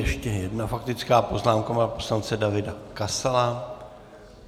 Ještě jedna faktická poznámka pana poslance Davida Kasala.